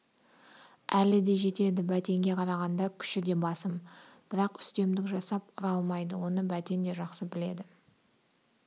әлі де жетеді бәтенге қарағанда күші де басым бірақ үстемдік жасап ұра алмайды оны бәтен де жақсы біледі